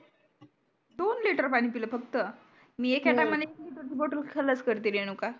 दोन liter पानी पीळ फक्त मी एका time ला एक liter ची bottle खल्लास करते रेणुका